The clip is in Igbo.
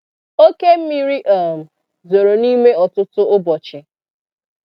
Òkè mmiri um zòrò n'ime ọtụtụ ụbọchị.